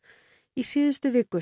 í síðustu viku